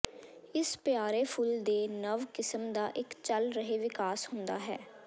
ਇਸ ਪਿਆਰੇ ਫੁੱਲ ਦੇ ਨਵ ਕਿਸਮ ਦਾ ਇੱਕ ਚੱਲ ਰਹੇ ਵਿਕਾਸ ਹੁੰਦਾ ਹੈ